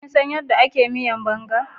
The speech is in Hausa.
Kinsan yadda aka miyan Banga?